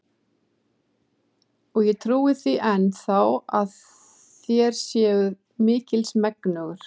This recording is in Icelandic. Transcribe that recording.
Og ég trúi því enn þá, að þér séuð mikils megnugur.